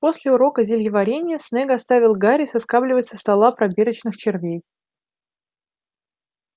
после урока зельеварения снегг оставил гарри соскабливать со столов пробирочных червей